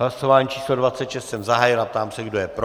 Hlasování číslo 26 jsem zahájil a ptám se, kdo je pro.